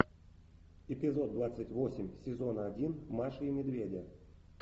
эпизод двадцать восемь сезона один маши и медведя